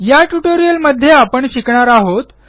या ट्युटोरियलमध्ये आपण शिकणार आहोत